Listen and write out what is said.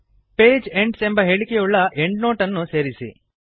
page ends ಎಂಬ ಹೇಳಿಕೆಯುಳ್ಳ endnote ಅನ್ನು ಸೇರಿಸಿ